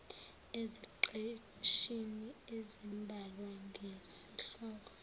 eziqeshini ezimbalwa ngesihloko